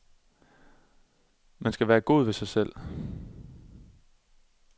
Man skal være god ved sig selv.